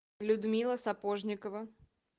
людмила сапожникова